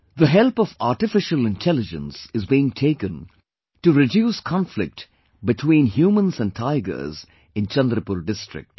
The help of Artificial Intelligence is being taken to reduce conflict between humans and tigers in Chandrapur district